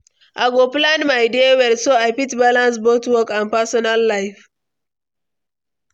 I go plan my day well, so I fit balance both work and personal life.